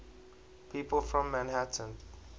people from manhattan